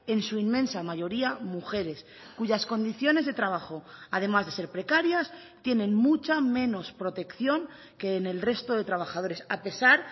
en su inmensa mayoría mujeres cuyas condiciones de trabajo además de ser precarias tienen mucha menos protección que en el resto de trabajadores a pesar